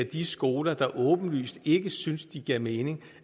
de skoler der åbenlyst ikke synes de giver mening